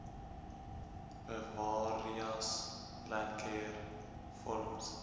bewareas landcare forums